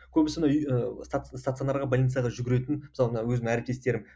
көбісі мына үй ы стационарға больницаға жүгіретін мысалы мына өзім әріптестерім